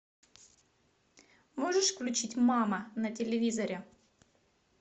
можешь включить мама на телевизоре